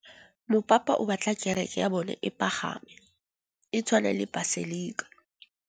Mopapa o batla kereke ya bone e pagame, e tshwane le paselika.